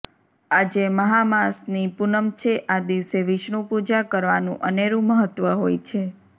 આજે મહા માસની પૂનમ છે આ દિવસે વિષ્ણુ પૂજા કરવાનું અનેરું મહત્વ હોય છે